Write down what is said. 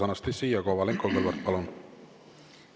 Anastassia Kovalenko-Kõlvart, palun!